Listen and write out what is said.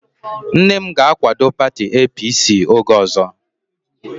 Nne m ga-akwado pati APC oge ọzọ